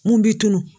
Mun b'i tunun